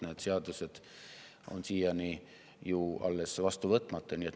Need seadused on ju siiani alles vastu võtmata.